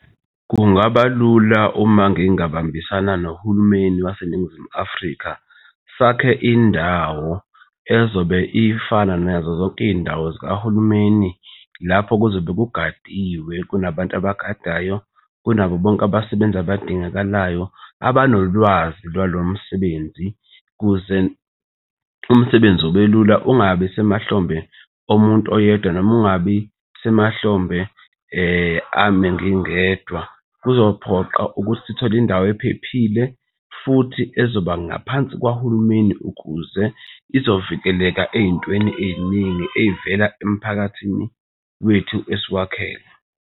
Kungaba lula uma ngingabambisana nohulumeni waseNingizimu Afrika sakhe, indawo ezobe ifana nazo zonke iy'ndawo zikahulumeni lapho kuzobe kugadiwe. Kunabantu abagadayo kunabo bonke abasebenzi abadingakalayo, abanolwazi lwalo msebenzi kuze umsebenzi ubelula ungabi semahlombe omuntu oyedwa noma ungabi semahlombe ame ngingedwa. Kuzophoqa ukuthi sithole indawo ephephile futhi ezoba ngaphansi kwahulumeni ukuze izovikeleka ey'ntweni ey'ningi ezivela emphakathini wethu esiwakhele.